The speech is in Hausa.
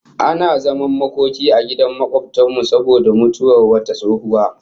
Ana zaman makoki a gidan makobtan mu saboda mutuwar wata tsohuwa